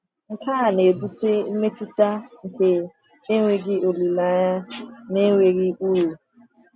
Nke a na-ebute mmetụta nke enweghị olileanya na enweghị uru.